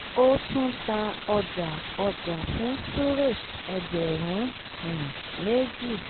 ó tún ta ọjà ọjà fún suresh ẹgbẹ̀rún um méjì